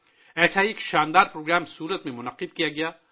ایسا ہی ایک عظیم الشان پروگرام سورت میں منعقد کیا گیا